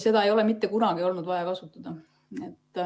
Seda ei ole mitte kunagi olnud vaja kasutada.